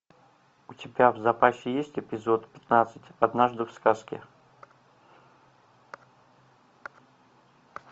у тебя в запасе есть эпизод пятнадцать однажды в сказке